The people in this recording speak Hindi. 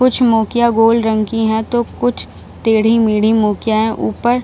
कुछ मोकिया गोल रंग की है तो कुछ टेढ़ी-मेढ़ी मोकिया है ऊपर --